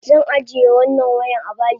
Zan ajiye wannan wayan abayi.